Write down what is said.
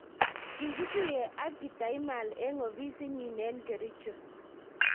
kikituye ak kitaimal eng ofisit nyin eng kericho.